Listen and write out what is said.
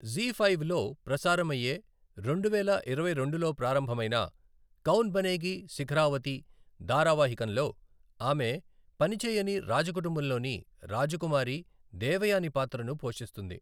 ZEE5 లో ప్రసారమయ్యే రెండువేల ఇరవై రెండులో ప్రారంభమైన కౌన్ బనేగీ శిఖరావతి ధారావాహికంలో ఆమె పనిచేయని రాజ కుటుంబంలోని రాజకుమారి దేవయాని పాత్రను పోషిస్తోంది.